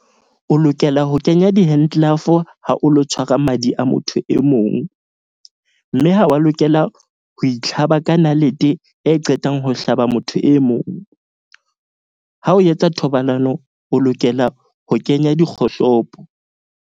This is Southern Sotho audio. O lokela ho kenya di-hand glove ha o lo tshwara madi a motho e mong. Mme ha wa lokela ho itlhaba ka nalete e qetang ho hlaba motho e mong. Ha o yetsa thobalano, o lokela ho kenya dikgohlopo.